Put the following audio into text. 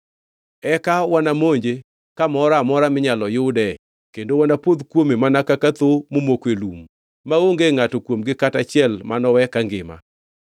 Eka wanamonje kamoro amora minyalo yude kendo wanapodh kuome mana ka thoo momoko e lum maonge ngʼato kuomgi kata achiel manowe kangima.